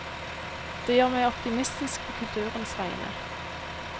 Det gjør meg optimistisk på kulturens vegne.